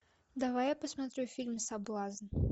давай я посмотрю фильм соблазн